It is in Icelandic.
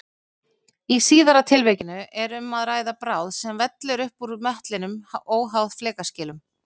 Í síðara tilvikinu er um að ræða bráð sem vellur upp úr möttlinum óháð flekaskilum.